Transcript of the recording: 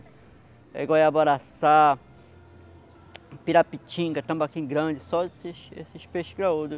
É pirapitinga, tambaquim grande, só esses esse peixes graudo.